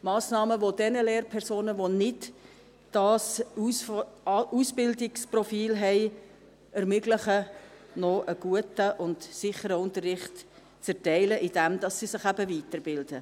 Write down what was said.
Massnahmen, die denjenigen Lehrpersonen, welche das Ausbildungsprofil nicht haben, ermöglichen, einen guten und sicheren Unterricht zu erteilen, indem sie sich eben weiterbilden.